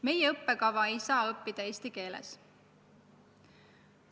Meie õppekava ei saa õppida eesti keeles.